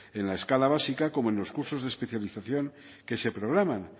en la escala básica como en los cursos de especialización que se programan